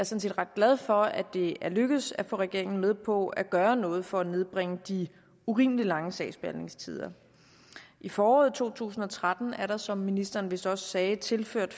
set ret glad for at det er lykkedes at få regeringen med på at gøre noget for at nedbringe de urimelig lange sagsbehandlingstider i foråret to tusind og tretten er der som ministeren vist også sagde tilført